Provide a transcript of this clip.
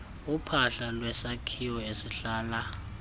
uphahla lwesakhiwo esihlala